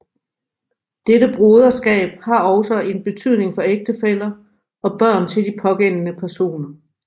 Dette broderskab har også en betydning for ægtefæller og børn til de pågældende personer